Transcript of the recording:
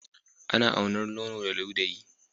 Ana aunar nono da ludayi